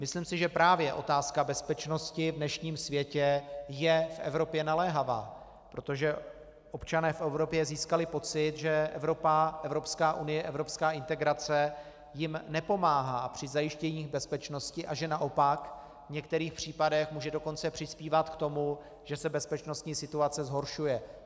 Myslím si, že právě otázka bezpečnosti v dnešním světě je v Evropě naléhavá, protože občané v Evropě získali pocit, že Evropa, Evropská unie, evropská integrace jim nepomáhá při zajištění bezpečnosti a že naopak v některých případech může dokonce přispívat k tomu, že se bezpečnostní situace zhoršuje.